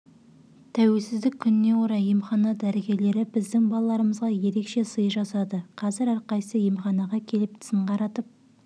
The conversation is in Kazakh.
тәуелсіздік күніне орай емхана дәрігерлері біздің балаларымызға ерекше сый жасады қазір әрқайсысы емханаға келіп тісін қаратып